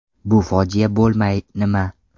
Bu fojia bo‘lmay nima?